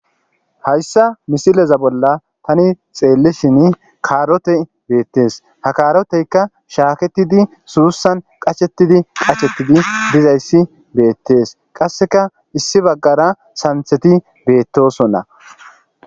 hayssa misileza bolla tani xeellishin kaarotey beettees ha kaaroteyka shaaketidi suussan qacshetidi qachettidi dizayssi beettees qasseka issi baggara santheti beettosonna